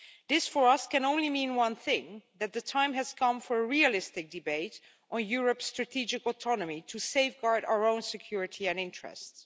This for us can only mean one thing that the time has come for a realistic debate on Europe's strategic autonomy to safeguard our own security and interests.